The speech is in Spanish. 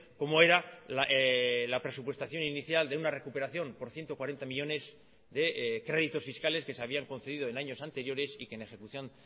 como era la presupuestación inicial de una recuperación por ciento cuarenta millónes de créditos fiscales que se habían concedido en años anteriores y que en ejecución